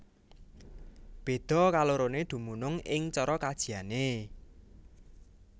Béda kaloroné dumunung ing cara kajiané